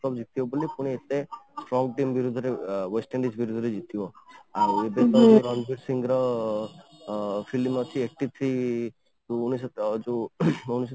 World Cup ଜିତିବ ବୋଲି ପୁଣି କ'ଣ କେମିତି ଧୀରେ ଧୀରେ West Indies ଧୀରେ ଧୀରେ ଜିତିବ ଆଉ ଏବେ ରଣବୀର ସିଂ ର ଫିଲ୍ମ ଆସିଛି ଅଂ eighty three ଉଣେଇଶ ଯୋଉ